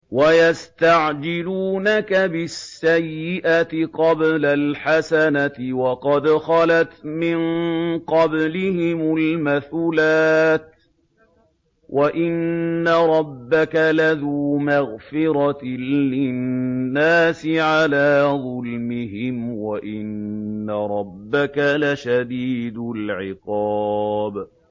وَيَسْتَعْجِلُونَكَ بِالسَّيِّئَةِ قَبْلَ الْحَسَنَةِ وَقَدْ خَلَتْ مِن قَبْلِهِمُ الْمَثُلَاتُ ۗ وَإِنَّ رَبَّكَ لَذُو مَغْفِرَةٍ لِّلنَّاسِ عَلَىٰ ظُلْمِهِمْ ۖ وَإِنَّ رَبَّكَ لَشَدِيدُ الْعِقَابِ